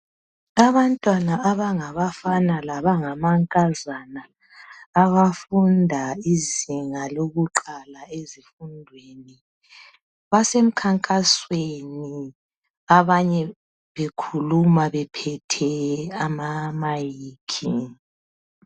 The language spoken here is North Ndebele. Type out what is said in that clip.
Abantwana abangabafana labangamankazana abafundi izinga lokuqala ezifundweni basemkhankasweni abanye bekhuluma bephethe amamayikhi.